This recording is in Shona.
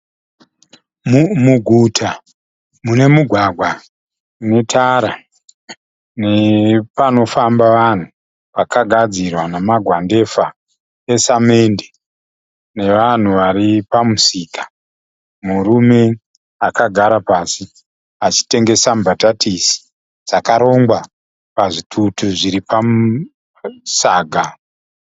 Muguta mune mugwagwa une tara nepanofamba vanhu pakagadzirwa nemagwandefa esamende, nevanhu vari pamusika. Murume akagara pasi achitengesa mbatatisi dzakarongwa pazvitutu zviri pasaga.